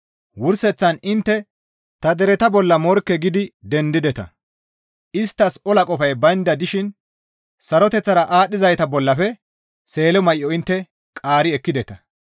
Wurseththan intte ta dereta bolla morkke gidi dendideta; isttas ola qofay baynda dishin saroteththara aadhdhizayta bollafe seelo may7o intte qaari ekkideta.